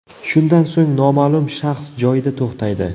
Shundan so‘ng noma’lum shaxs joyida to‘xtaydi.